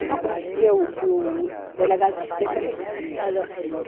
Eu já conhecia o, que o delegado desse tempo era irmão do finado